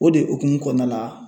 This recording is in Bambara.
O de hukumu kɔnɔna la